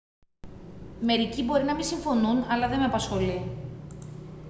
μερικοί μπορεί να μη συμφωνούν αλλά δε με απασχολεί